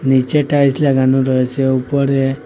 নীচে টাইলস লাগানো রয়েসে উপরে--